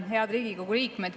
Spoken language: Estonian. Head Riigikogu liikmed!